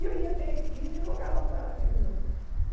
E eu ia até a esquina e jogava para ela aquele número.